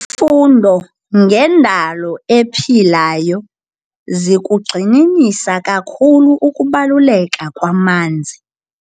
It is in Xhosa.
Izifundo ngendalo ephilayo zikugxininisa kakhulu ukubaluleka kwamanzi.